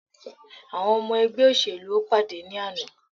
Àwọn ọmọ ẹgbẹ́ òṣèlú o pàdé ní àná.